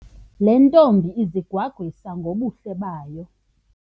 Le ntombi izigwagwisa ngobuhle bayo.